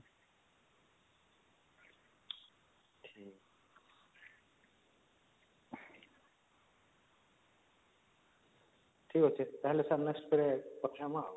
ଠିକଅଛି ତାହେଲେ sir next କେବେ କଥା ହବା